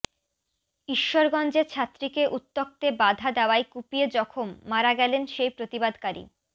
ঈশ্বরগঞ্জে ছাত্রীকে উত্ত্যক্তে বাধা দেওয়ায় কুপিয়ে জখম মারা গেলেন সেই প্রতিবাদকারী